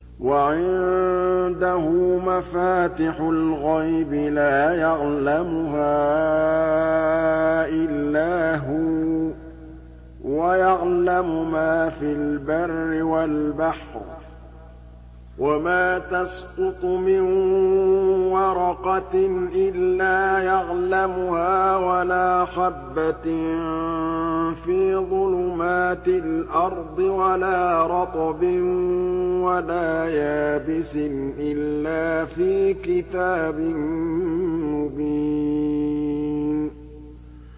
۞ وَعِندَهُ مَفَاتِحُ الْغَيْبِ لَا يَعْلَمُهَا إِلَّا هُوَ ۚ وَيَعْلَمُ مَا فِي الْبَرِّ وَالْبَحْرِ ۚ وَمَا تَسْقُطُ مِن وَرَقَةٍ إِلَّا يَعْلَمُهَا وَلَا حَبَّةٍ فِي ظُلُمَاتِ الْأَرْضِ وَلَا رَطْبٍ وَلَا يَابِسٍ إِلَّا فِي كِتَابٍ مُّبِينٍ